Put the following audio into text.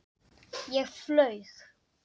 Ég flaug.